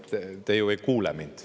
Te ju ei kuula mind.